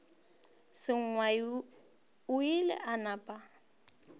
sengwai o ile a napa